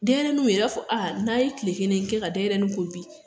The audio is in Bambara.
Denɲɛrɛniw yɛrɛ a b'a fɔ a n'a ye tile kelen kɛ ka denɲɛrɛni ko bi